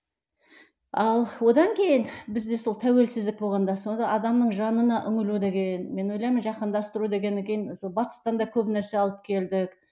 ал одан кейін бізде сол тәуілсіздік болғанда сонда адамның жанына үңілу деген мен ойлаймын жаһандастыру дегеннен кейін сол батыстан да көп нәрсе алып келдік